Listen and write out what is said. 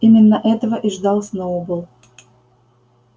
именно этого и ждал сноуболл